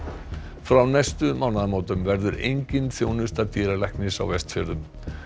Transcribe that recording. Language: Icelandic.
frá næstu mánaðamótum verður engin þjónusta dýralæknis á Vestfjörðum